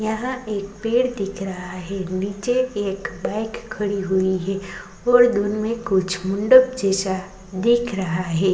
यहां पर एक पेड़ दिख रहा है निचे एक बाइक खड़ी हुई है और दुन में कुछ मुंढ़प जैसा दिख रहा है।